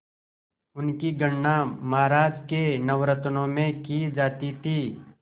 उनकी गणना महाराज के नवरत्नों में की जाती थी